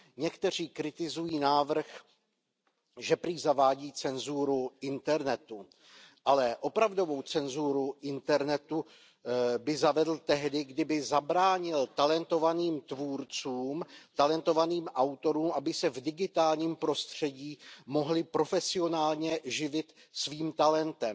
Někteří kritizují návrh, že prý zavádí cenzuru internetu. Ale opravdovou cenzuru internetu by zavedl tehdy, kdyby zabránil talentovaným tvůrcům, talentovaným autorům, aby se v digitálním prostředí mohli profesionálně živit svým talentem.